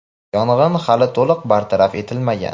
yong‘in hali to‘liq bartaraf etilmagan.